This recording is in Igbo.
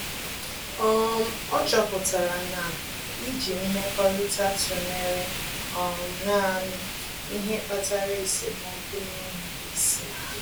um Ọ́ chọ́pụ̀tárà na íjí mmekọrịta tụnyere um nāànị́ ihe kpatara esemokwu n’énwéghị́ isi.